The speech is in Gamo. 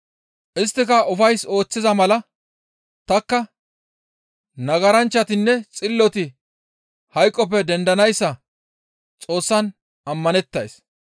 Isttika ufays ooththiza mala tanikka nagaranchchatinne xilloti hayqoppe dendanayssa Xoossan ammanettays.